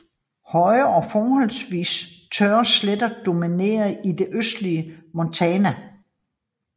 Høje og forholdsvis tørre sletter dominerer i det østlige Montana